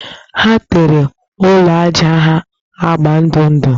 Ha tere ụlọ ajá ha agba ndụ ndụ